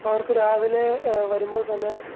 അവർക്ക് രാവിലെ ആഹ് വരുമ്പോൾ തന്നെ